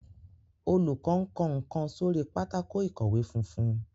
olùkó nkó nkán sórí Pátákó ìkọ̀wé funfun.